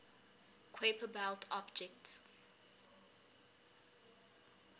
kuiper belt objects